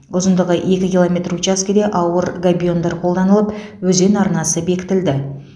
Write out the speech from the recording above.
ұзындығы екі километр учаскеде ауыр габиондар қолданылып өзен арнасы бекітілді